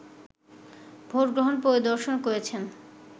vote গ্রহণ পরিদর্শন করেছেন